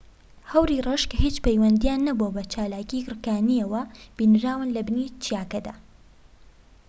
هەوری ڕەش کە هیچ پەیوەندیان نەبووە بە چالاکیی گڕکانییەوە بینراون لە بنی چیاکەدا